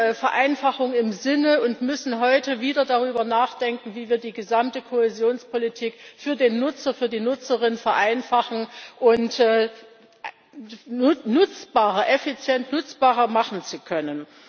Wir hatten eine Vereinfachung im Sinn und müssen heute wieder darüber nachdenken, wie wir die gesamte Kohäsionspolitik für den Nutzer und für die Nutzerin vereinfachen und effizient nutzbarer machen können.